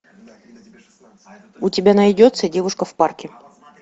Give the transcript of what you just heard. у тебя найдется девушка в парке